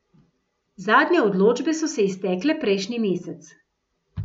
Zadnje odločbe so se iztekle prejšnji mesec.